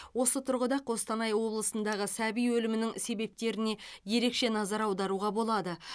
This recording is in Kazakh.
осы тұрғыда қостанай облысындағы сәби өлімінің себептеріне ерекше назар аударуға болады